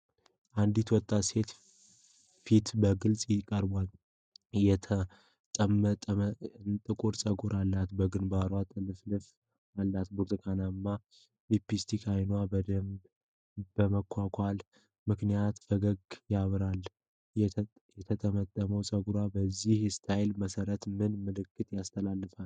አንዲት ወጣት ሴት ፊት በግልጽ ቀርቧል። የተጠመጠመና ጥቁር ፀጉር አላት፣ በግንባርዋ ጥልፍልፍ አላት። በብርቱካናማ ሊፕስቲክና አይኗን በደንብ በመኳኳሏ ምክንያት ፈገግታዋ ያበራል። የተጠመጠመ ፀጉር በዚህ ስታይል መሠራት ምን መልእክት ያስተላልፋል?